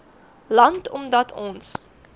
land omdat ons